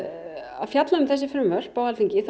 að fjalla um þessi frumvörp á Alþingi þá